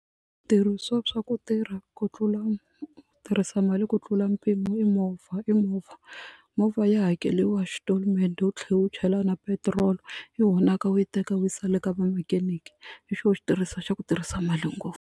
swa ku tirha ku tlula ku tirhisa mali ku tlula mpimo i movha i movha movha ya hakeliwa xitolomende u tlhela wu chela na petiroli yi honaka u yi teka u yi yisa le ka ma mechanic hi xona xi stress xa ku tirhisa mali ngopfu.